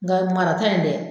Nga marata in dɛ